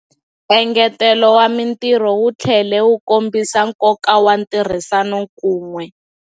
Engetelo wa mitirho wu tlhele wu kombisa nkoka wa ntirhisano kun'we.